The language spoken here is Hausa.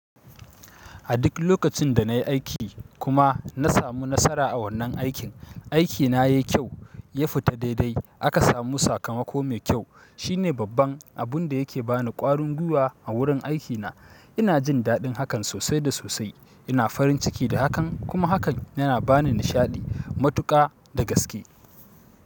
A duk lokacin da nayi aiki kuma na samu nasara a wannan aiki, aiki na yai kyau ya fita daidai aka samu sakamako mai kyau shine babban abun da yake ba ni ƙwarin gwiwa a wurin aikina. Ina jin daɗin hakan sosai da sosai. Ina farin ciki da hakan kuma hakan yana ba ni nishaɗi matuƙa da gaske.